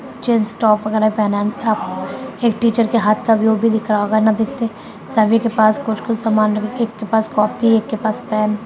jeans top वगैरा पहना है एक टीचर के हाथ का व्यू भी दिख रहा होगा सभी के पास कुछ-कुछ सामान एक के पास कॉपी है एक के पास पेन --